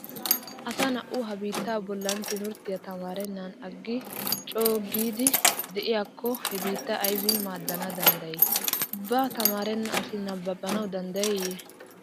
Asa na'au ha biitta bolli timirttiya tamaarennan aggi coogidi de'iyakko he biittaa aybin maaddana danddayi? Ubba tamaaribeenna asi nabbabanawu danddayiiyye?